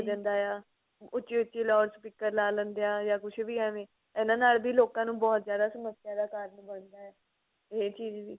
ਜਾਂਦਾ ਆ ਉੱਚੀ ਉੱਚੀ loud speaker ਲਾ ਲੈਂਦੇ ਆ ਜਾਂ ਕੁੱਝ ਵੀ ਐਵੇਂ ਇਹਨਾ ਨਾਲ ਵੀ ਲੋਕਾਂ ਨੂੰ ਬਹੁਤ ਜਿਆਦਾ ਸਮੱਸਿਆ ਦਾ ਕਾਰਣ ਬਣਦਾ ਹੈ ਇਹ ਚੀਜ਼ ਵੀ